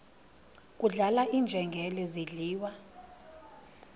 kudlala iinjengele zidliwa